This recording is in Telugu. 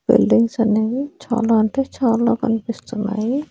బిల్డింగ్స్ అనేవి చాలా అంటే చాలా కన్పిస్తున్నాయి.